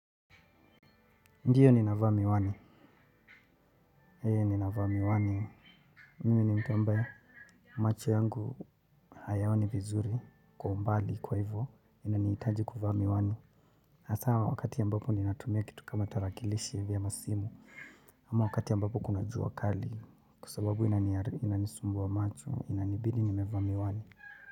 Ndiyo nina vaa miwani. Nina vaa miwani. Mimi ni mtu ambaye macho yangu hayaoni vizuri. Kwa umbali kwa hivyo inanihitaji kuvaa miwani. Hasa wakati ambapo nina tumia kitu kama tarakilishi hivi ama simu. Ama wakati ambapo kuna jua kali. Kwa sababu inani sumbua macho inabidi nimevaa miwani.